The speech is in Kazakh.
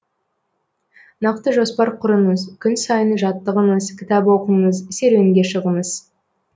нақты жоспар құрыңыз күн сайын жаттығыңыз кітап оқыңыз серуенге шығыңыз